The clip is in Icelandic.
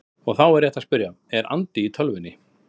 Og þá er rétt að spyrja: Er andi í tölvunni?